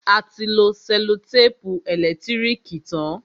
A ti lo sẹ́lòtèpù ẹ̀lẹ́tírìkì tán.